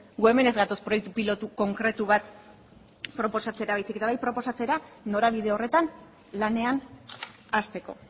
gu hemen ez gatoz proiektu pilotu konkretu bat proposatzera baizik eta bai proposatzera norabide horretan lanean hasteko